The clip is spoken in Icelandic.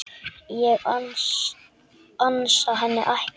Ég ansa henni ekki.